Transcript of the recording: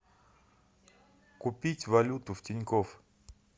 купить валюту в тинькофф